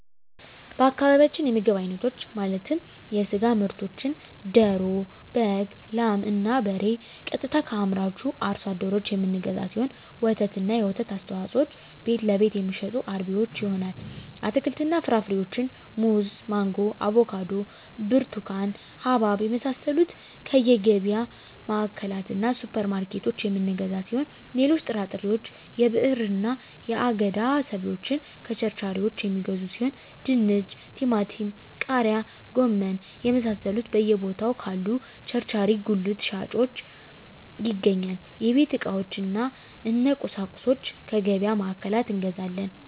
በአካባቢያችን የምግብ አይነቶች ማለትም የስጋ ምርቶችን ደሮ በግ ላም እና በሬ ቀጥታ ከአምራቹ አርሶ አደሮች የምንገዛው ሲሆን ወተትና የወተት ተዋፅኦዎችን ቤትለቤት የሚሸጡ አርቢዎች ይሆናል አትክልትና ፍራፍሬዎችን ሙዝ ማንጎ አቮካዶ ብርቱካን ሀባብ የመሳሰሉትከየገቢያ ማዕከላትእና ሱፐር ማርኬቶች የምንገዛ ሲሆን ሌሎች ጥራጥሬዎች የብዕርና የአገዳ ሰብሎችን ከቸርቻሪዎች የሚገዙ ሲሆን ድንች ቲማቲም ቃሪያ ጎመን የመሳሰሉት በየ ቦታው ካሉ ቸርቻሪ ጉልት ሻጮች ይገኛል የቤት ዕቃዎች እነ ቁሳቁሶች ከገቢያ ማዕከላት እንገዛለን